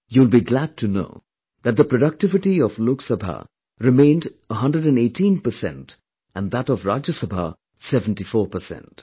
You will be glad to know that the productivity of Lok Sabha remained 118 percent and that of Rajya Sabha was 74 percent